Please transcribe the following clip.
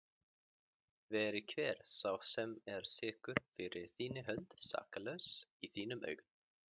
Veri hver sá sem er sekur fyrir þína hönd saklaus í þínum augum.